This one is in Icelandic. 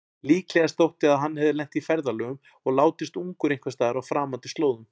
Líklegast þótti að hann hefði lent í ferðalögum og látist ungur einhversstaðar á framandi slóðum.